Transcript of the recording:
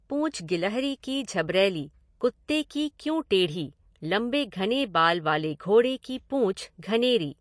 पूँछ गिलहरी की झबरैली, कुत्ते की क्यों टेढ़ी, लम्बे घने बाल वाली घोड़े की पूँछ घनेरी।